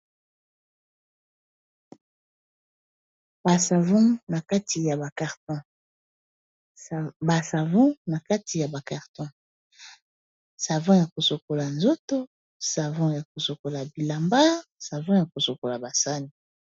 Ba savon na kati ya ba carton, savon ya ko sokola nzoto, savon ya ko sokola bilamba, savon ya ko sokola ba sani .